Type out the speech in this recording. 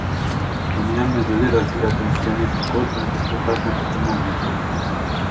V njem ne želi razvijati in skleniti zgodbe, dotakne pa se mnogih zgodb.